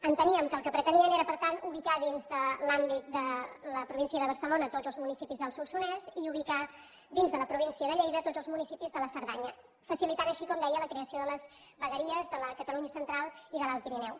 enteníem que el que pretenien era per tant ubicar dins de l’àmbit de la província de barcelona tots els municipis del solsonès i ubicar dins de la província de lleida tots els municipis de la cerdanya per facilitar així com deia la creació de les vegueries de la catalunya central i de l’alt pirineu